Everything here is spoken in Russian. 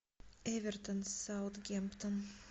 эвертон саутгемптон